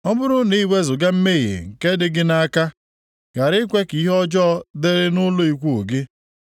ọ bụrụ na i wezuga mmehie nke dị gị nʼaka, ghara ikwe ka ihe ọjọọ dịrị nʼụlọ ikwu gị